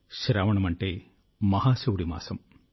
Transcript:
శ్రావణమంటే మహాశివుడి మాసం